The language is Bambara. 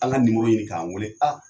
A la ninoro ɲini k'an wele a